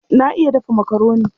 Na iya dafa makaroni.